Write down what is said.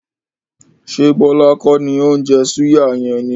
Se Bọlá kọ́ni ó ń jẹ́ súyà yẹn ni?